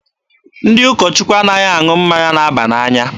Ndị ụkọ Chukwu anaghị aṅụ mmanya na-aba n'anya.